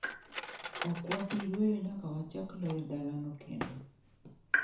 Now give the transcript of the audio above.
Ok wabi yueyo nyaka wachak loyo dalano kendo.